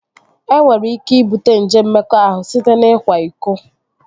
E nwere ike ibute nje mmekọahụ site n'ikwa iko